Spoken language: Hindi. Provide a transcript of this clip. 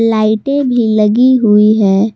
लाइटें भी लगी हुई है।